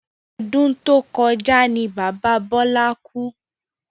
Ọdún to kọjá ní bàbá Bọlá kú